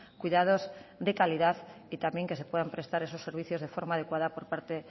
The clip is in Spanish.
cuidados de calidad y también que se puedan prestar esos servicios de forma adecuada por parte